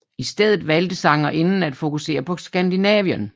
I stedet valgte sangerinden at fokusere på Skandinavien